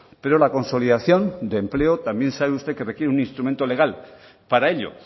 pero la consolidación de empleo también sabe usted que requiere un instrumento legal para ello